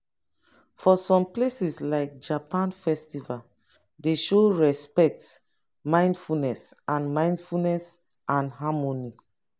for some places like japan festival dey show respect mindfulness and mindfulness and harmony